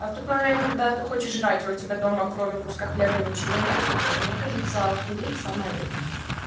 а в тот момент когда ты хочешь кушать а у тебя дома кроме куска хлеба ничего нет то мне кажется охуеть самое время